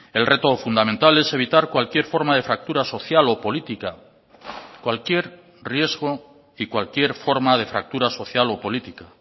el reto fundamental es evitar cualquier forma de fractura social o política cualquier riesgo y cualquier forma de fractura social o política